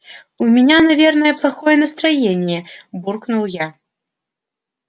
у меня наверное плохое настроение буркнул я